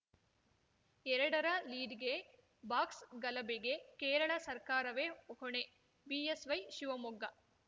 ಎರಡರ ಲೀಡ್‌ಗೆ ಬಾಕ್ಸ್‌ ಗಲಭೆಗೆ ಕೇರಳ ಸರ್ಕಾರವೇ ಹೊಣೆ ಬಿಎಸ್‌ವೈ ಶಿವಮೊಗ್ಗ